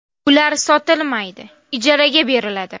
Ular sotilmaydi, ijaraga beriladi.